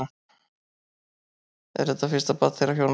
Er þetta fyrsta barn þeirra hjóna